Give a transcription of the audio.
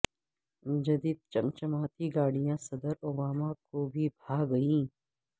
جدید چم چماتی گاڑیاں صدر اوباما کو بھی بھا گئیں